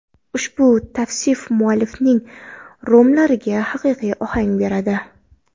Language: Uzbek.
Ushbu tavsif muallifning romanlariga haqiqiy ohang beradi.